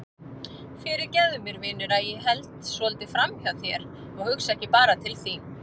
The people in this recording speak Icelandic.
Fyrirgefðu mér vinur að ég held svolítið framhjá þér og hugsa ekki bara til þín.